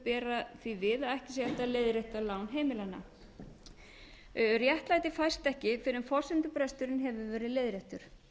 bera því við að ekki sé hægt að leiðrétta lán heimilanna réttlæti fæst ekki fyrr en forsendubresturinn hefur verið leiðréttur